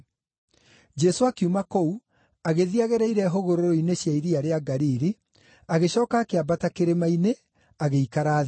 Jesũ akiuma kũu, agĩthiĩ agereire hũgũrũrũ-inĩ cia iria rĩa Galili, agĩcooka akĩambata kĩrĩma-inĩ, agĩikara thĩ.